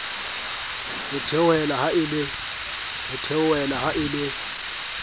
ho theohela ha e le